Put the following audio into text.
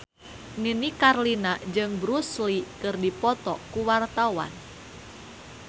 Nini Carlina jeung Bruce Lee keur dipoto ku wartawan